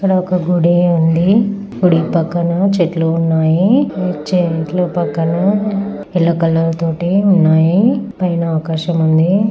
ఇక్కడ ఒక గుడి ఉంది గుడి పక్కన చెట్లు ఉన్నాయి ఈ చెట్లు పక్కన ఎల్లో కలర్ తోటి ఉన్నాయి పైన ఆకాశం ఉంది.